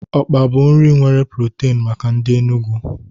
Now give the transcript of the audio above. Okpa bụ nri nwere protin maka ndị Enugwu.